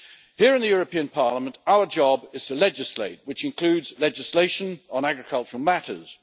Here in the European Parliament our job is to legislate, which includes legislation on agricultural matters.